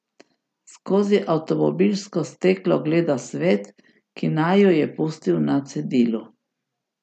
Skozi avtomobilsko steklo gleda svet, ki naju je pustil na cedilu.